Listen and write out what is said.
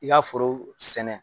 I k'a foro sɛnɛ.